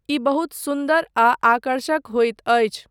ई बहुत सुन्दर आ आकर्षक होइत अछि।